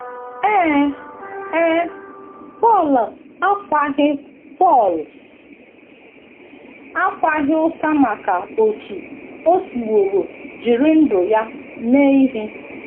Ee e, Pọl akwaghị Pọl akwaghị ụta maka otú o siworo jiri ndụ ya mee ihe!